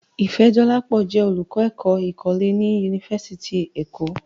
Ifẹ̀dọlápọ̀ jẹ́ olùkọ́ èkó̀ ìkọlẹ̀ ní Yunífásítì Èkọ́.